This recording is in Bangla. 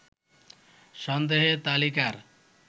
সন্দেহের তালিকার